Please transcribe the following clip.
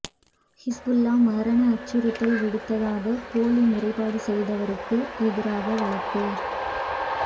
ஹிஸ்புல்லாஹ் மரண அச்சுறுத்தல் விடுத்ததாக போலி முறைப்பாடு செய்தவருக்கு எதிராக வழக்கு